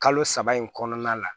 Kalo saba in kɔnɔna la